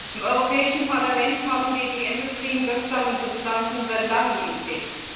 Im Europäischen Parlament haben wir die endokrin wirksamen Substanzen seit langem im Blick.